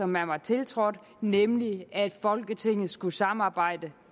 man var tiltrådt nemlig at folketinget skulle samarbejde